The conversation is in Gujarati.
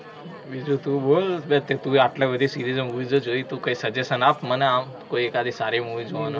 બિજુ તુ બોલ, બે તે તુ ય આટલા બધી series ઓ movies ઓ જોઇ, તુ કઇ suggestion આપ મને આમ કોઇ એકાદી સારી movie જોવાનુ